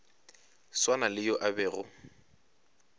swana le yo a bego